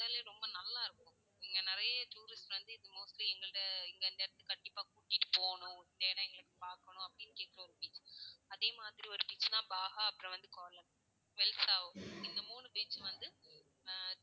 உண்மையிலயே ரொம்ப நல்லா இருக்கும். இங்க நிறைய tourist வந்து mostly எங்களை இந்த இடத்துக்கு வந்து கண்டிப்பா கூட்டிட்டு போணும். இந்த இடம் எங்களுக்கு பாக்கணும். அப்படின்னு கேக்குற ஒரு beach அதே மாதிரி ஒரு beach தான் பாகா, அப்பறம் வந்து, வெல்சொ ஒண்ணு. இந்த மூணு beach வந்து அஹ்